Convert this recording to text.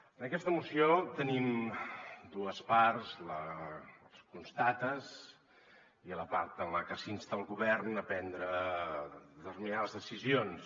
en aquesta moció te·nim dues parts la de les constatacions i la part en la que s’insta el govern a pren·dre determinades decisions